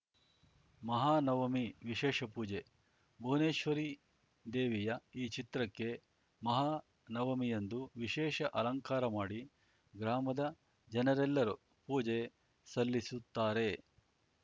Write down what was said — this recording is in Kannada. ಮಹಾನವಮಿ ವಿಶೇಷ ಪೂಜೆ ಭುವನೇಶ್ವರಿ ದೇವಿಯ ಈ ಚಿತ್ರಕ್ಕೆ ಮಹಾನವಮಿಯಂದು ವಿಶೇಷ ಅಲಂಕಾರ ಮಾಡಿ ಗ್ರಾಮದ ಜನರೆಲ್ಲರೂ ಪೂಜೆ ಸಲ್ಲಿಸುತ್ತಾರೆ